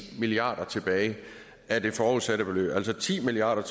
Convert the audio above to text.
milliard kroner tilbage af det forudsatte beløb altså ti milliard